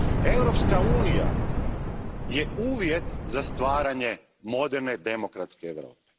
Europska unija je uvjet za stvaranje moderne demokratske Europe.